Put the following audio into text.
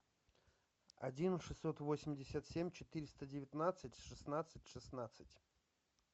один шестьсот восемьдесят семь четыреста девятнадцать шестнадцать шестнадцать